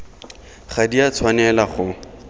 ga di a tshwanela go